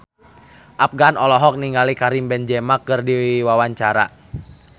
Afgan olohok ningali Karim Benzema keur diwawancara